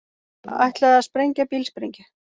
Ætlaði að sprengja bílsprengju